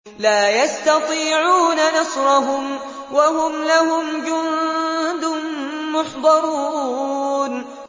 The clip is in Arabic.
لَا يَسْتَطِيعُونَ نَصْرَهُمْ وَهُمْ لَهُمْ جُندٌ مُّحْضَرُونَ